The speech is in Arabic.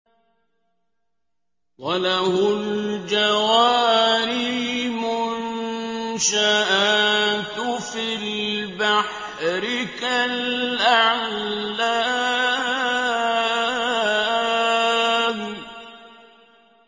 وَلَهُ الْجَوَارِ الْمُنشَآتُ فِي الْبَحْرِ كَالْأَعْلَامِ